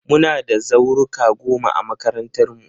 Muna da zauruka goma a makarantarmu.